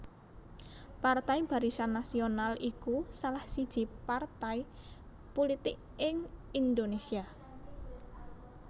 Partai Barisan Nasional iku salah siji partai pulitik ing Indonésia